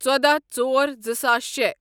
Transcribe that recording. ٚژۄداہ ژور زٕساس شے